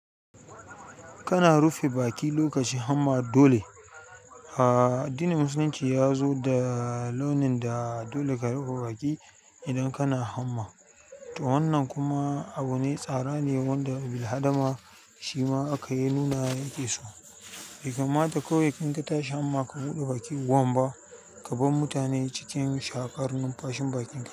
Kana rufe baki lokacin hamma dole. A addinin musulunci yazo da launin da dole ka rufe baki, idan kana hamma. To wannan kuma abu ne tsara ne wanda bil'adama shi ma aka yi nuna yake so. Bai kamata kawau in ka tashi hamma ka buɗe bakin wan ba. Ka bar mutane cikin shakkar numfashin bakinka.